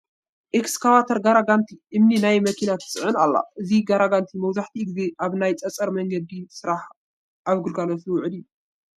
ኤክካሼተር ጋራጋንቲ እምኒ ናብ መኪና ትፅዕን ኣላ፡፡ እዚ ጋራጋንቲ መብዛሕትኡ ግዜ ኣብ ናይ ፀፀር መንገዲ ስራሕ ኣብ ግልጋሎት ዝውዕል እዩ፡፡